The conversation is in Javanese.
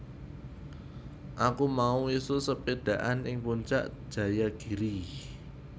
Aku mau isuk sepedhaan ing Puncak Jayagiri